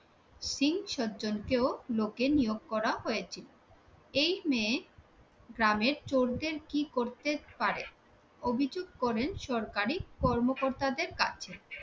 স্ত্রী সজ্জনকেও লোকে নিয়োগ করা হয়েছিল। এই গ্রামে চোরদের কি করতে পারে অভিযোগ করেন সরকারি কর্মকর্তাদের কাছে